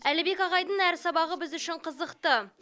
әлібек ағайдың әр сабағы біз үшін қызықты